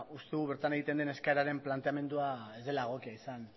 uste dugu bertan egiten den eskaeraren planteamendua ez dela egokia izan